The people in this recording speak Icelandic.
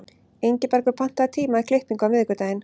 Ingibergur, pantaðu tíma í klippingu á miðvikudaginn.